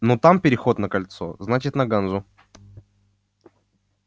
но там переход на кольцо значит на ганзу